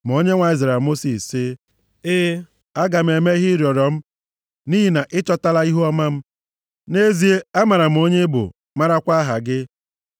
Ma Onyenwe anyị zara Mosis sị, “E, aga m eme ihe ị rịọrọ m, nʼihi na ị chọtala ihuọma m. Nʼezie, amara m onye ị bụ, marakwa aha gị.”